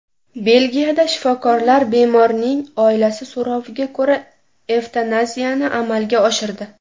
Belgiyada shifokorlar bemorning oilasi so‘roviga ko‘ra evtanaziyani amalga oshirdi.